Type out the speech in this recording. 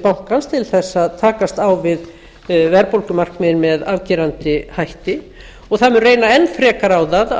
bankans til þess að takast á við verðbólgumarkmiðin með afgerandi hætti og það mun reyna enn frekar á það